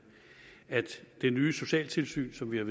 er at det nye socialtilsyn som vi har